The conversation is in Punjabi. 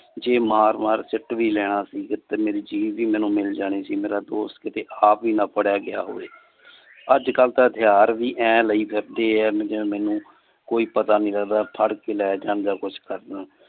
ਜੇ ਮਾਰ ਮਾਰ ਸਿਟ ਵੀ ਲੈਣਾ ਸੀ। ਜਦੋ ਤੱਕ ਮੇਰੀ ਮੇਰੀ ਚੀਜ ਵੀ ਮੈਨੂੰ ਮਿਲ ਜਾਣੀ ਸੀ। ਮੇਰਾ ਦੋਸਤ ਆ ਭੀ ਨਾ ਫੜਿਆ ਗਿਆ ਹੋਵੇ। ਅੱਜ ਕਲ ਤਾ ਹਥਿਆਰ ਵੀ ਲਾਇ ਫਿਰਦੇ ਆ ਜਿਵੇ ਮੇਨੂ ਕੋਈ ਪਤਾ ਨਹੀਂ ਲੱਗਦਾ ਫੜ ਕੇ ਲੈ ਜਾਂਦੇ ਕੁਛ ਕਰ ਦੇਣ